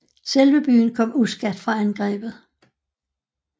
Selve byen kom uskadt fra angrebet